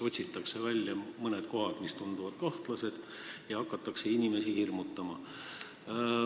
Otsitakse välja mõned kohad, mis tunduvad kahtlased, ja hakatakse inimesi hirmutama.